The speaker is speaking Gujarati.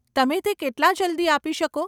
તમે તે કેટલાં જલ્દી આપી શકો?